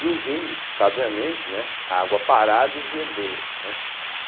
E os índios, sabiamente, né, a água parada esverdeia, né.